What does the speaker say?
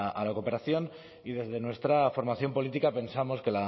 a la cooperación y desde nuestra formación política pensamos que